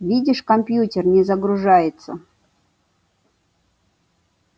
видишь компьютер не загружается